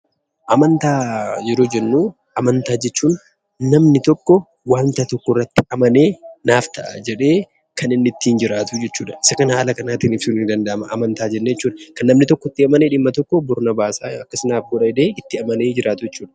Amantaa yeroo jennuu amantaa jechuun namni tokkoo wanta tokkorratti amanee naaf ta'a jedhee kan inni ittiin jiraatuu jechuudha. Isa kana haala kanaatiin ibsuun ni danda'ama amantaa jennee jechuudha. Kan namni tokko itti amanee dhimma tokko bor na baasa akkas naaf godha jedhee itti amanee jiraatu jechuudha.